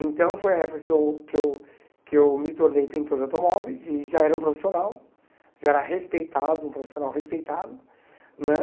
Então foi a época que eu que eu que eu me tornei pintor de automóveis e já era um profissional, já era respeitado, um profissional respeitado né.